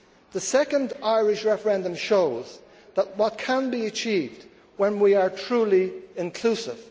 The second Irish referendum shows what can be achieved when we are truly inclusive.